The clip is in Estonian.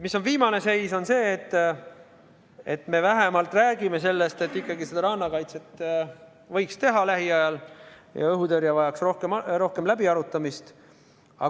Viimane seis on see, et me vähemalt räägime sellest, et rannakaitsega võiks ikkagi lähiajal tegeleda ja õhutõrje vajaks rohkem läbiarutamist.